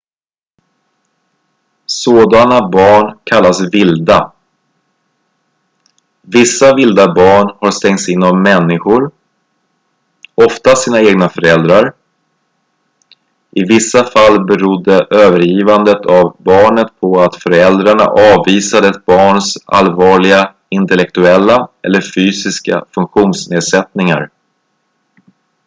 "sådana barn kallas "vilda"". vissa vilda barn har stängts in av människor oftast sina egna föräldrar; i vissa fall berodde övergivandet av barnet på att föräldrarna avvisade ett barns allvarliga intellektuella eller fysiska funktionsnedsättningar.